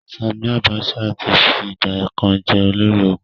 Sanni Abacha ti fi ìgbà kan jẹ́ olórí ológun.